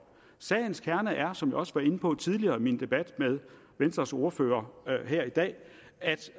sagens kerne er som jeg også var inde på tidligere i min debat med venstres ordfører her i dag